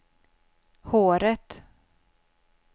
håret